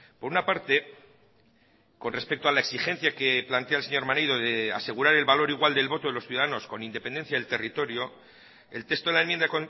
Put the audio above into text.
por una parte con respecto a la exigencia que plantea el señor maneiro de asegurar el valor igual del voto de los ciudadanos con independencia del territorio el texto de la enmienda